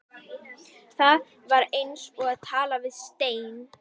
En það var eins og að tala við steininn.